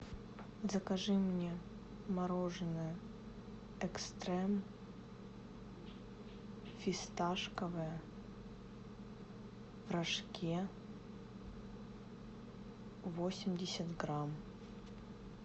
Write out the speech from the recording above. закажи мне мороженое экстрем фисташковое в рожке восемьдесят грамм